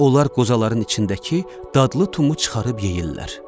Onlar qozaların içindəki dadlı tumu çıxarıb yeyirlər.